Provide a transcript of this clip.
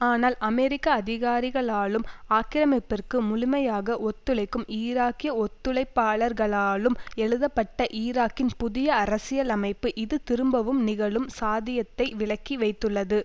ஆனால் அமெரிக்க அதிகாரிகளாலும் ஆக்கிரமிப்பிற்கு முழுமையாக ஒத்துழைக்கும் ஈராக்கிய ஒத்துழைப்பாளர்களாலும் எழுதப்பட்ட ஈராக்கின் புதிய அரசியலமைப்பு இது திரும்பவும் நிகழும் சாதியத்தை விலக்கி வைத்துள்ளது